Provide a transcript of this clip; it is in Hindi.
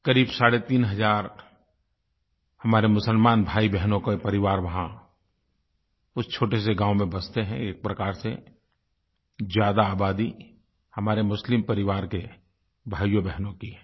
क़रीब साढ़े तीन हज़ार हमारे मुसलमान भाईबहनों के परिवार वहाँ उस छोटे से गाँव में बसते हैं एक प्रकार से ज़्यादा आबादी हमारे मुस्लिम परिवार के भाइयोंबहनों की है